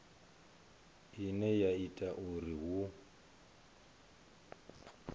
ine ya ita uri hu